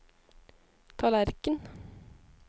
tallerken